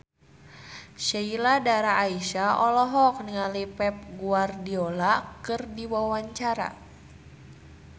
Sheila Dara Aisha olohok ningali Pep Guardiola keur diwawancara